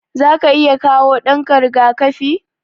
Zaka iya kawo ɗanka riga-kafi?